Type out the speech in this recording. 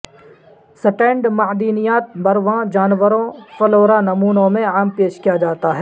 stand معدنیات برواں جانوروں فلورا نمونوں میں عام پیش کیا جاتا ہے